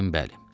Dedim bəli.